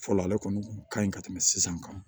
Fɔlɔ ale kɔni kun ka ɲi ka tɛmɛ sisan kan